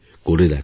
করে দেখো